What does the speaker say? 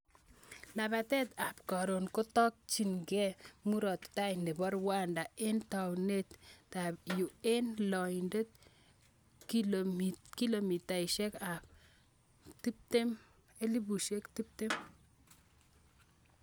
labatet ab karon kotakchin kee murat tai nebo Rwanda eng taonit ab Huye eng loindab kilomitaishek ab 120